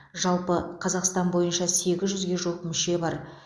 жалпы қазақстан бойынша сегіз жүзге жуық мүше бар